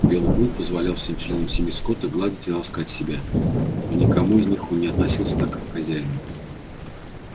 белый клык позволял всем членам семьи скотта гладить и ласкать себя но ни к кому из них он не относился так как к хозяину